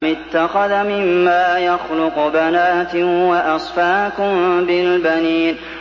أَمِ اتَّخَذَ مِمَّا يَخْلُقُ بَنَاتٍ وَأَصْفَاكُم بِالْبَنِينَ